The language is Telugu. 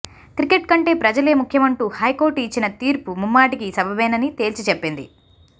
క్రికెట్ కంటే ప్రజలే ముఖ్యమంటూ హైకోర్టు ఇచ్చిన తీర్పు ముమ్మాటికీ సబబేనని తేల్చి చెప్పింది